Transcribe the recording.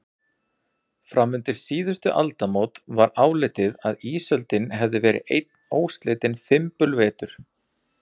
Fram undir síðustu aldamót var álitið að ísöldin hefði verið einn óslitinn fimbulvetur.